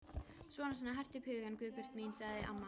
Svona svona, hertu upp hugann, Guðbjörg mín sagði amma.